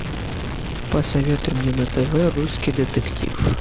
посоветуй мне на тв русский детектив